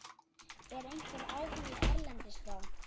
Er einhver áhugi erlendis frá?